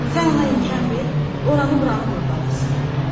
Sən ona imkan ver, oranı buranı qurdalasın.